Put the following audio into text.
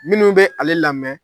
Minnu bɛ ale lamɛn.